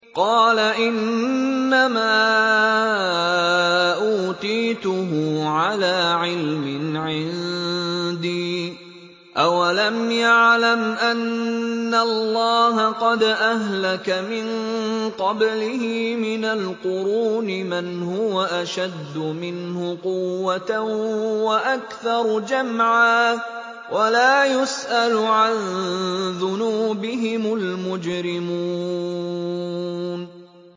قَالَ إِنَّمَا أُوتِيتُهُ عَلَىٰ عِلْمٍ عِندِي ۚ أَوَلَمْ يَعْلَمْ أَنَّ اللَّهَ قَدْ أَهْلَكَ مِن قَبْلِهِ مِنَ الْقُرُونِ مَنْ هُوَ أَشَدُّ مِنْهُ قُوَّةً وَأَكْثَرُ جَمْعًا ۚ وَلَا يُسْأَلُ عَن ذُنُوبِهِمُ الْمُجْرِمُونَ